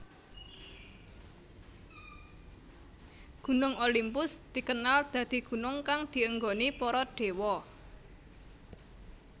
Gunung Olimpus dikenal dadi gunung kang dienggoni para déwa